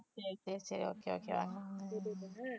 சரி சரி okay okay வா